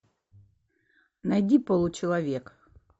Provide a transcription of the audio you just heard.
найди получеловек